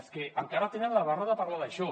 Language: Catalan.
és que encara tenen la barra de parlar d’això